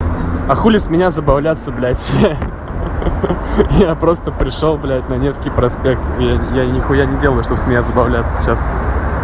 а хули с меня забавляться блядь ха-ха я просто пришёл блядь на невский проспект я не хуя не делаю что с меня забавляться сейчас